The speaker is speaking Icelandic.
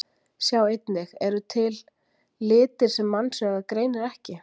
Sjá einnig: Eru til litir sem mannsaugað greinir ekki?